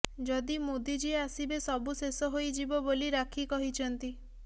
ଯଦି ମୋଦି ଜୀ ଆସିବେ ସବୁ ଶେଷ ହୋଇଯିବ ବୋଲି ରାକ୍ଷୀ କହିଛନ୍ତି